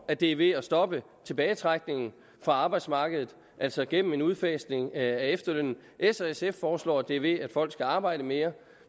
at det er ved at stoppe tilbagetrækningen fra arbejdsmarkedet altså gennem en udfasning af efterlønnen s og sf foreslår at det sker ved at folk skal arbejde mere